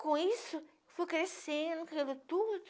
Com isso, fui crescendo, criando tudo.